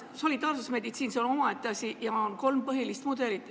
Solidaarsusmeditsiin on omaette asi ja on kolm põhilist mudelit.